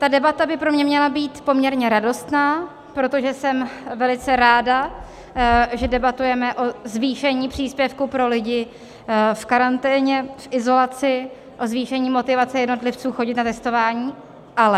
Ta debata by pro mě měla být poměrně radostná, protože jsem velice ráda, že debatujeme o zvýšení příspěvku pro lidi v karanténě, v izolaci, o zvýšení motivace jednotlivců chodit na testování, ALE.